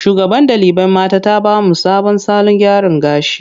Shugaban ɗalibai mata ta ba mu sabon salon gyara gashi.